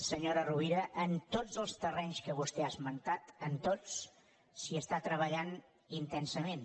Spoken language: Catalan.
senyora rovira en tots els terrenys que vostè ha esmentat en tots s’hi està treballant intensament